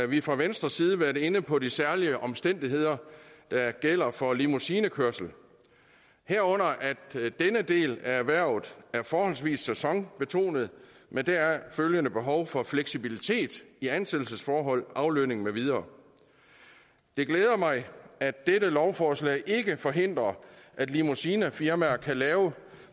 vi fra venstres side været inde på de særlige omstændigheder der gælder for limousinekørsel herunder at denne del af erhvervet er forholdsvis sæsonbetonet med deraf følgende behov for fleksibilitet i ansættelsesforhold aflønning med videre det glæder mig at dette lovforslag ikke forhindrer at limousinefirmaer kan lave